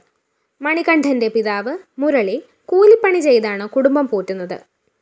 മണികണ്ഠന്റെ പിതാവ് മുരളി കൂലിപ്പണി ചെയ്താണ് കുടുംബം പോറ്റുന്നത്